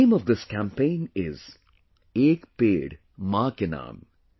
The name of this campaign is – ‘Ek Ped Maa Ke Naam’